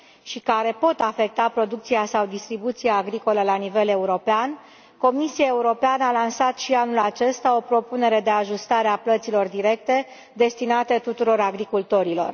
și care pot afecta producția sau distribuția agricolă la nivel european, Comisia Europeană a lansat și anul acesta o propunere de ajustare a plăților directe destinate tuturor agricultorilor.